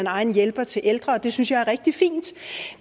egen hjælper til ældre det synes jeg er rigtig fint